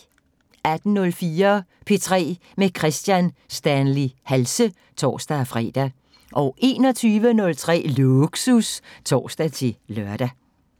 18:04: P3 med Kristian Stanley Halse (tor-fre) 21:03: Lågsus (tor-lør)